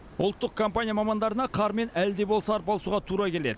ұлттық компания мамандарына қармен әлі де болса арпалысуға тура келеді